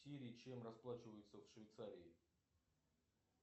сири чем расплачиваются в швейцарии